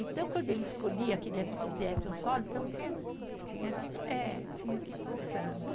Então, quando ele escolhia, queria que fizesse um solo, então tinha, tinha, eh, tinha que ir passando.